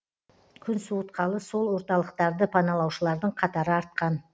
күн суытқалы сол орталықтарды паналаушылардың қатары артқан